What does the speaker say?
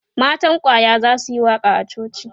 matan kwaya zasuyi waƙa a coci